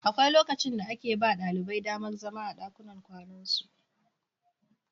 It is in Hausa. Akwai lokacin da ake ba ɗalibai damar zama a ɗakunan kwanansu.